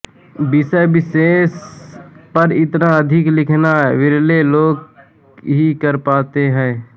विषय विशेष पर इतना अधिक लिखना विरले लोग ही कर पाते हैं